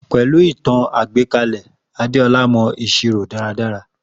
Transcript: Pẹ̀lú ìtàn àgbékalè Adéọlá mọ ìṣirò dára dára